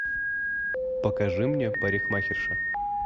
покажи мне парикмахерша